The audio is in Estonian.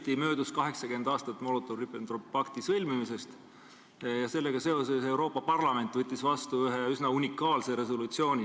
Hiljuti möödus 80 aastat Molotovi-Ribbentropi pakti sõlmimisest ja sellega seoses võttis Euroopa Parlament vastu ühe üsna unikaalse resolutsiooni.